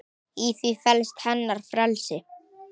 Í því felst hennar frelsi.